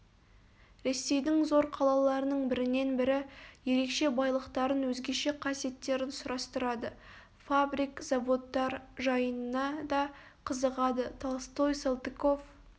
ресейдің зор қалаларының бірінен-бірі ерекше байлықтарын өзгеше қасиеттерін сұрастырады фабрик заводтар жайына да қызығады толстой салтыков